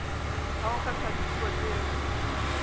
ha ho kgethwa dipuo tseo